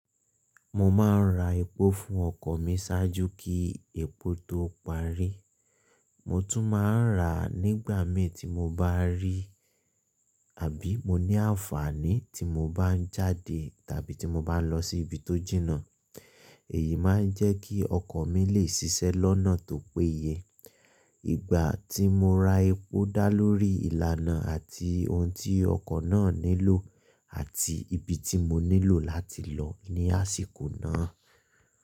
Mo má ń ra epo fún ọkọ̀ mi ṣajú kí epo tó parí. Mo tún má ń ra nígbà mi tí mo bá rí àbí mo ní àǹfààní tí mo bá ń jáde tàbí tí mo bá ń lọ sí ibi tó jìnà. Èyí má ń jẹ́ kí ọkọ̀ mi lè ṣiṣẹ́ lọ́nà tó péye. Ìgbà tí mo ra epo dá lórí ìlànà àti òun tí ọkọ̀ ná nílò àti ibi tí mo nílò láti lò ní àsìkò náà.